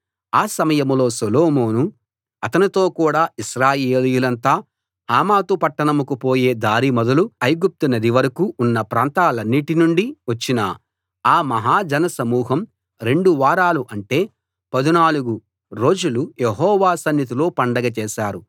ఆ సమయంలో సొలొమోను అతనితో కూడ ఇశ్రాయేలీయులంతా హమాతు పట్టంకు పోయే దారి మొదలు ఐగుప్తు నది వరకూ ఉన్న ప్రాంతాలన్నిటి నుండి వచ్చిన ఆ మహా జన సమూహం రెండు వారాలు అంటే 14 రోజులు యెహోవా సన్నిధిలో పండగ చేశారు